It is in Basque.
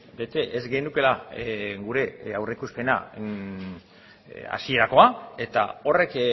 bete ez genukeela gure aurreikuspena hasierakoa eta horrek